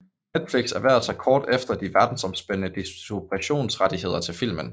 Netflix erhvervede sig kort efter de verdensomspændende distributionsrettigheder til filmen